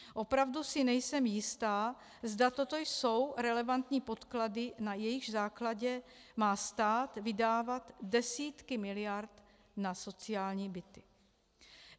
Opravdu si nejsem jistá, zda toto jsou relevantní podklady, na jejichž základě má stát vydávat desítky miliard na sociální byty.